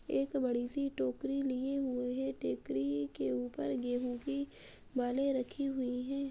एक बड़ी सी टोकरी लिए हुए हैं। टेकरी के ऊपर गेंहू की बाले रखी हुई हैं।